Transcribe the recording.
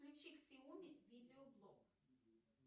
включи ксяоми видео блог